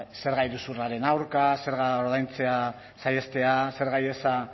zerga iruzurraren aurka zergak ordaintzea saihestea zerga ihesa